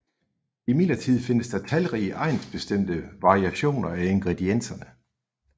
Imidlertid findes der talrige egnsbestemte variationer af ingredienserne